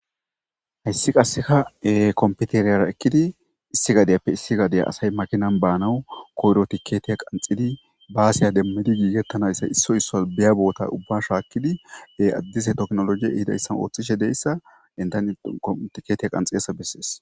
Hayssi qasseka kompiteriyara ekkidi issi gadiyappe issi gadeya asay makinan baanawu koyro tiketiya qanxidi baasiya demmidi giigettanayssa issoy isso biya boota ubba shaakkidi addise toknologiye ihidayssan ooththishe deyssa endan kontiketeya qanxidasa bessees.